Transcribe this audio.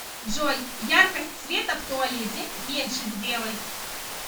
джой яркость света в туалете меньше сделай